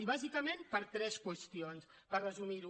i bàsicament per tres qüestions per resumir ho